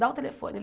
Dá o telefone.